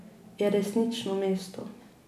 Je resnično mesto.